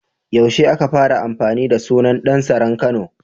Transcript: Yaushe aka fara amfani da sunan Ɗan saran Kano?